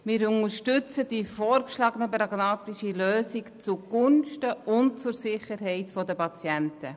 Wir unterstützen die vorgeschlagene pragmatische Lösung zugunsten und für die Sicherheit der Patienten.